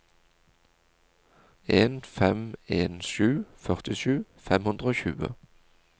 en fem en sju førtisju fem hundre og tjue